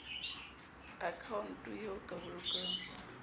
akhaonto eo o ka bolokang